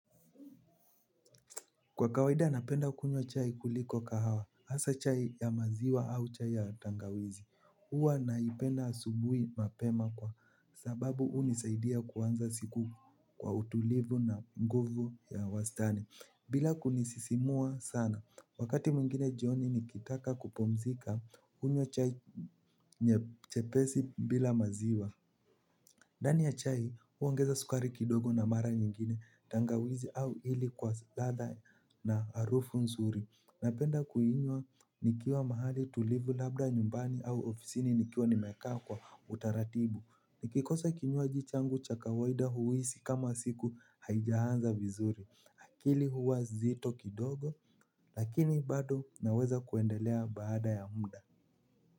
Kwa kawaida napenda kunywa chai kuliko kahawa, hasa chai ya maziwa au chai ya tangawizi. Huwa naipenda asubuhi mapema kwa sababu hunisaidia kuanza siku kwa utulivu na nguvu ya wastani. Bila kunisisimua sana, wakati mwingine jioni nikitaka kupumzika hunywa chai nyepesi bila maziwa. Ndani ya chai huongeza sukari kidogo na mara nyingine tangawizi au ili kwa ladha na harufu nzuri. Napenda kuinywa nikiwa mahali tulivu labda nyumbani au ofisini nikiwa nimekaa kwa utaratibu. Nikikosa kinywaji changu cha kawaida huisi kama siku haija anza vizuri. Akili huwa nzito kidogo lakini bado naweza kuendelea baada ya muda.